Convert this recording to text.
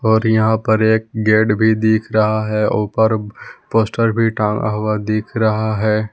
और यहां पर एक गेट भी दिख रहा है ऊपर पोस्टर भी टांगा हुआ दिख रहा है।